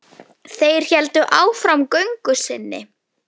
Þeir héldu áfram göngu sinni.